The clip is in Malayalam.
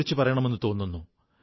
കുടുംബാംഗങ്ങളെന്നു കരുതൂ